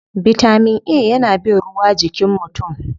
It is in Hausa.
Bitamin A yana bin ruwa jikin mutum.